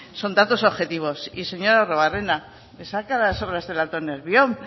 son datos objetivos y señor arruabarrena me saca las obras del alto nervión